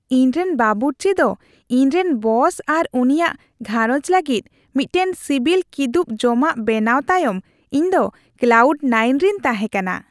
ᱤᱧᱨᱮᱱ ᱵᱟᱵᱩᱨᱪᱤ ᱫᱚ ᱤᱧ ᱨᱮᱱ ᱵᱚᱥ ᱟᱨ ᱩᱱᱤᱭᱟᱜ ᱜᱷᱟᱸᱨᱚᱡᱽ ᱞᱟᱹᱜᱤᱫ ᱢᱤᱫᱴᱟᱝ ᱥᱤᱵᱤᱞ ᱠᱤᱫᱩᱵᱽ ᱡᱚᱢᱟᱜ ᱵᱮᱱᱟᱣ ᱛᱟᱭᱚᱢ ᱤᱧᱫᱚ ᱠᱞᱟᱣᱩᱰ ᱱᱟᱭᱤᱱ ᱨᱤᱧ ᱛᱟᱦᱮᱸ ᱠᱟᱱᱟ ᱾